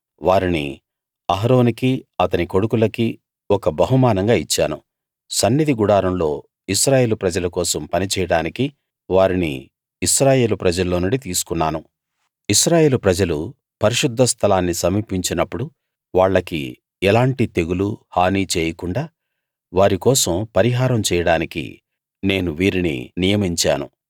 వారిని అహరోనుకీ అతని కొడుకులకీ ఒక బహుమానంగా ఇచ్చాను సన్నిధి గుడారంలో ఇశ్రాయేలు ప్రజల కోసం పనిచేయడానికి వారిని ఇశ్రాయేలు ప్రజల్లో నుండి తీసుకున్నాను ఇశ్రాయేలు ప్రజలు పరిశుద్ధ స్థలాన్ని సమీపించినప్పుడు వాళ్లకి ఎలాంటి తెగులు హాని చేయకుండా వారి కోసం పరిహారం చేయడానికి నేను వీరిని నియమించాను